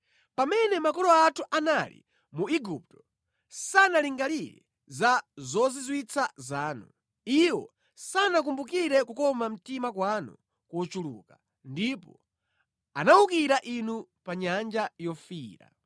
Pamene makolo athu anali mu Igupto, sanalingalire za zozizwitsa zanu; iwo sanakumbukire kukoma mtima kwanu kochuluka, ndipo anawukira Inu pa Nyanja Yofiira.